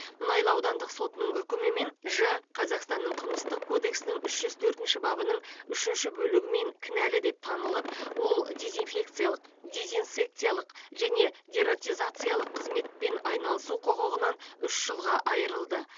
мұнайлы аудандық сотының үкімімен ж қазақстанның қылмыстық кодексінің үш жүз төртінші бабының үшінші бөлігімен кінәлі деп танылып ол дезинфекциялық дезинсекциялық және дератизациялық қызметпен айналысу құқығынан үш жылға айырылды